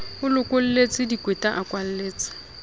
a lokolletse dikweta a kwalletse